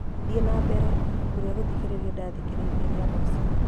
thiĩ na mbere ibuku rĩa gũthikĩrĩria ndathikĩrĩirie rĩa mũico